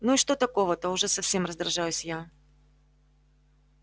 ну и что такого-то уже совсем раздражаюсь я